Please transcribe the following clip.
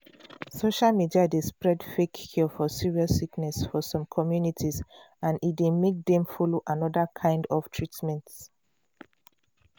social media dey spread fake cure for serious sickness for some communities and e dey make dem follow another kind of treatment.